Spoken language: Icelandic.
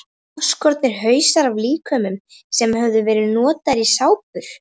Afskornir hausar af líkömum sem höfðu verið notaðir í sápur.